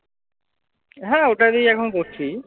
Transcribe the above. হ্যাঁ ওটাতেই এখন করছি।